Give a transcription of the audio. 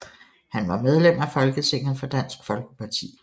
Han var medlem af Folketinget for Dansk Folkeparti